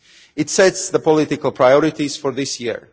it sets the political priorities for this year.